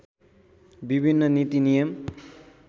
विभिन्न नीति नियम